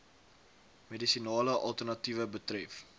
medisinale alternatiewe betref